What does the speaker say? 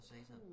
for satan